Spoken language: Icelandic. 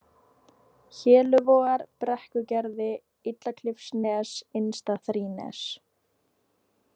Héluvogar, Brekkugerði, Illaklifsnes, Innsta-Þrínes